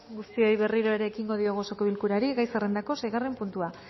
guztioi berriro erekin diogu osoko bilkurari gai zerrendako seigarren puntua